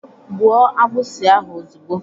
Gbuo agbụsi ahụ ozugbo!